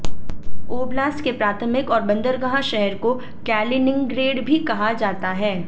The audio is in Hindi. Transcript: ओब्लास्ट के प्राथमिक और बंदरगाह शहर को कैलिनिंग्रैड भी कहा जाता है